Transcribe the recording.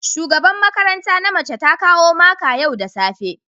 shugaban makaranta na mace ta kawo maka yau da safe